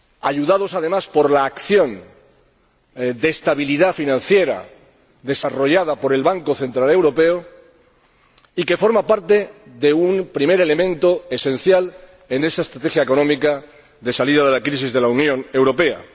ayudados además por la acción de estabilidad financiera desarrollada por el Banco Central Europeo, y que forma parte de un primer elemento esencial en esta estrategia económica de salida de la crisis de la Unión Europea.